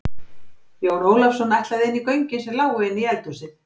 Jón Ólafsson ætlaði inn í göngin sem lágu inn í eldhúsið.